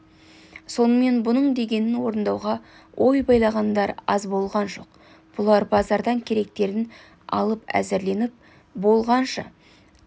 сонымен бұның дегенін орындауға ой байлағандар аз болған жоқ бұлар базардан керектерін алып әзірленіп болғанша тағы